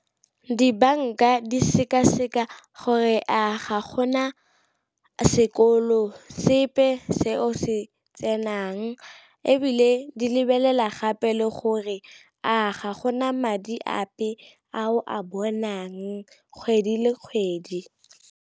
Dibanka di seka-seka gore a ga gona sekolo sepe se o se tsenang, ebile di lebelela gape le gore a ga gona madi ape a o a bonang kgwedi le kgwedi.